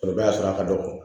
O b'a sɔrɔ a ka dɔgɔ